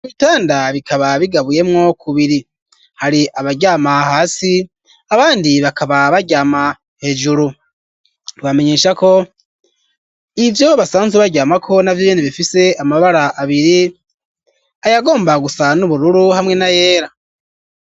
Ibitanda bikaba bigabuyemwo kubiri hari abaryama hasi abandi bakaba baryama hejuru twoba menyesha ko ivyo basanzwe baryamako navyo nyene bifise amabara abiri ayagomba gusa n'ubururu hamwe na yera